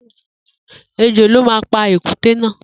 Ejò ló ma pa pa èkúté náà